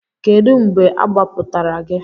Kedu mgbe agbapụtara gị?